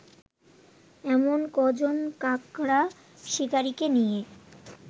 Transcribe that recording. এমন কজন কাকড়া শিকারিকে নিয়ে